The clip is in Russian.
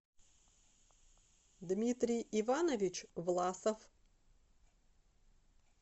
дмитрий иванович власов